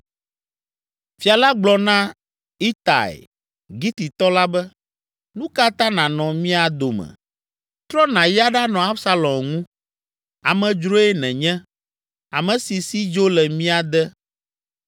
Fia la gblɔ na Itai, Gititɔ la be, “Nu ka ta nànɔ mía dome? Trɔ nàyi aɖanɔ Absalom ŋu. Amedzroe nènye, ame si si dzo le mia de.